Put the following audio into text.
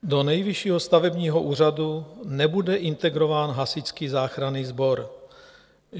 Do Nejvyššího stavebního úřadu nebude integrován Hasičský záchranný sbor.